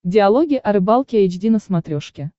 диалоги о рыбалке эйч ди на смотрешке